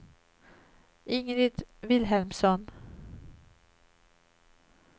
Ingrid Vilhelmsson